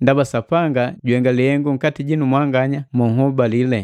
Ndaba Sapanga juhenga lihengu nkati jinu mwanganya monhobale.